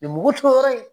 mugu to yɔrɔ in